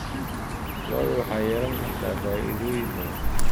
Lo'du waxay yeelan kartaa faa'iidooyin badan.